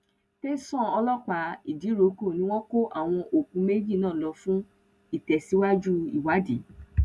tẹsán um ọlọpàá ìdíròkọ ni wọn kó àwọn òkú méjì náà lọ fún um ìtẹsíwájú ìwádìí